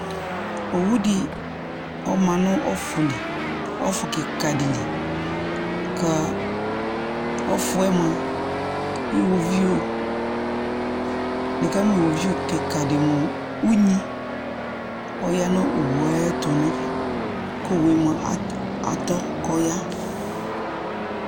Owudɩ ɔma nʋ ɔfʋ li ɔfʋkɩkadɩ li, k'a ɔfʋɛ mʋa, iɣoviu : nɩkamʋ iɣoviu kɩkadɩ mʋ unyi ɔya nʋ owue ayɛtʋ n'ɛfɛ ; k'owue mʋa atɔ k'ɔya